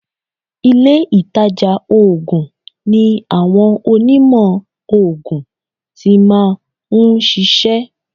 Ilé ìtajà oògùn ni àwọn Onímọ̀ oògùn ti máa ń ṣiṣẹ́.